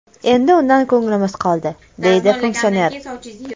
Endi undan ko‘nglimiz qoldi”, deydi funksioner.